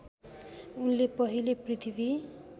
उनले पहिले पृथ्वी